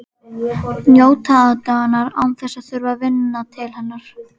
Njóta aðdáunar án þess að þurfa að vinna til hennar.